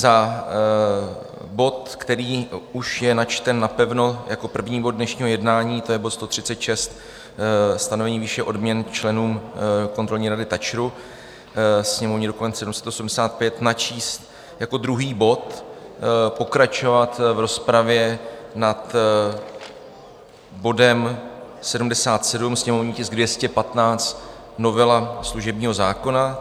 Za bod, který už je načten napevno jako první bod dnešního jednání, to je bod 136 - stanovení výše odměn členům kontrolní rady TAČRu, sněmovní dokument 785, načíst jako druhý bod, pokračovat v rozpravě nad bodem 77, sněmovní tisk 215 - novela služebního zákona.